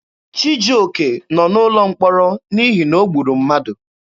Chijioke nọ n'ụlọ mkpọrọ n'ihi na o gburu mmadụ.